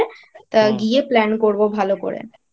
তা গিয়ে Plan করব ভাল করে।